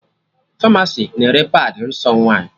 Famasi na-ere padị nsọ nwaanyị